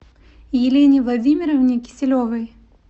елене владимировне киселевой